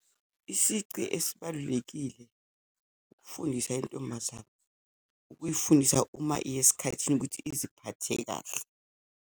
Isici esibalulekile ukufundisa intombazane, ukuyifundisa uma iya esikhathini ukuthi iziphathe kahle.